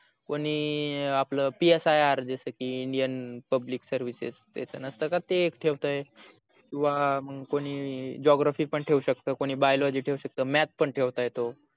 कोणी आपल psi अर जस की Indian public services ते नसत का तस ठेवत किवा कोणी मग geography ठेऊ शकत कोणी biology ठेऊ शकत math पण ठेवता येत